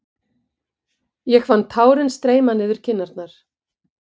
Ég fann tárin streyma niður kinnarnar.